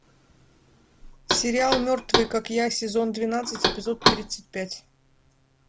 сериал мертвые как я сезон двенадцать эпизод тридцать пять